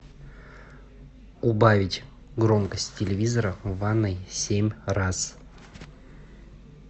убавить громкость телевизора в ванной семь раз